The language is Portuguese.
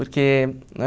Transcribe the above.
Porque